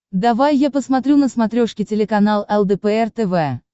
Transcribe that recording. давай я посмотрю на смотрешке телеканал лдпр тв